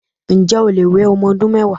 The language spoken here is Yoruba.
Ǹjé̩ o lè we o̩mo̩ odún mé̩wàá?